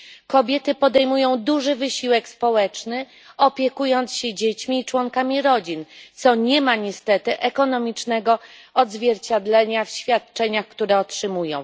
Kobiety podejmują duży wysiłek społeczny, opiekując się dziećmi i członkami rodzin, co nie ma niestety ekonomicznego odzwierciedlenia w świadczeniach, które otrzymują.